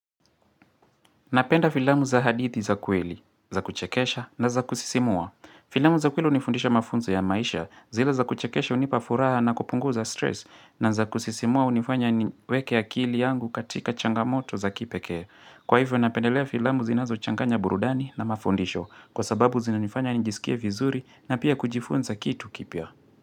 Napenda filamu za hadithi za kweli, za kuchekesha na za kusisimua. Filamu za kweli hunifundisha mafunzo ya maisha zile za kuchekesha hunipa furaha na kupunguza stress na za kusisimua hunifanya niweke akili yangu katika changamoto za kipekee. Kwa hivyo napendelea filamu zinazochanganya burudani na mafundisho kwa sababu zinanifanya njisikie vizuri na pia kujifunza kitu kipya.